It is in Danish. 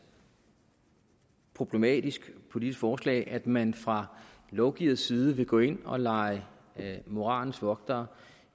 problematisk politisk forslag at man fra lovgivers side vil gå ind og lege moralens vogter